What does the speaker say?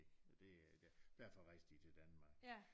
Og det øh derfor rejste de til Danmark